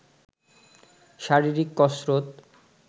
শারীরিক কসরত